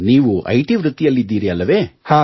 ನೀವು I T ವೃತ್ತಿಯಲ್ಲಿದ್ದೀರಿ ಅಲ್ಲವೇ